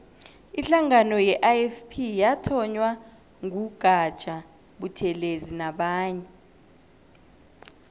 ihlangano ye ifp yathonywa ngu gaja buthelezi nabanye